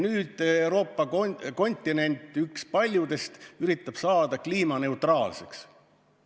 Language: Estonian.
Nüüd Euroopa kontinent, üks paljudest, üritab saada kliimaneutraalseks.